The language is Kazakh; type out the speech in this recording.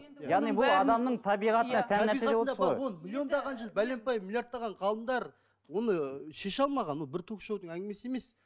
миллиондаған жыл бәленбай миллиардтаған ғалымдар оны ы шеше алмаған ол бір ток шоудың әңгімесі емес